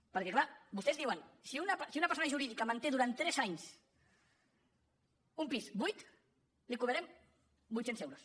perquè clar vostès diuen si una persona jurídica manté durant tres anys un pis buit li cobrarem vuitcents euros